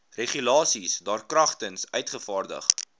regulasies daarkragtens uitgevaardig